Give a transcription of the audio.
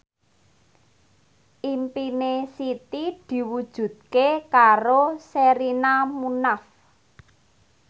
impine Siti diwujudke karo Sherina Munaf